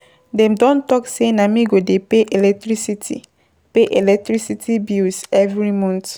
Dem don tok sey na me go dey pay electricity, pay electricity bills every month.